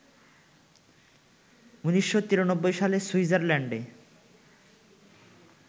১৯৯৩ সালে সুইজারল্যান্ডে